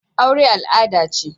Aure al'ada ce.